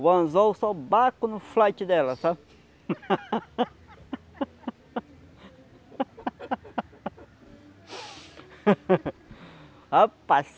O anzol só dela, sabe? Rapaz.